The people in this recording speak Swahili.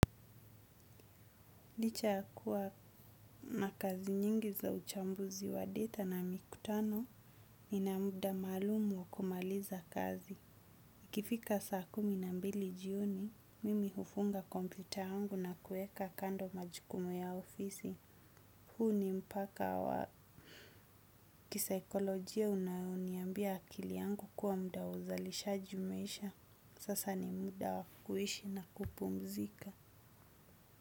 Licha yakuwa na kazi nyingi za uchambuzi wa data na mikutano nina muda maalum wa kumalizia kazi ikifika saa kumi na mbili jioni, mimi hufunga kompyuta yangu na kuweka kando majukumu ya ofisi. Huu ni mpaka wa kisaikolojia unayoniambia akili yangu kuwa muda wa uzalisha umeisha. Sasa ni muda wa kuishi na kupumzika.